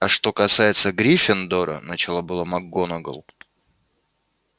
а что касается гриффиндора начала было макгонагалл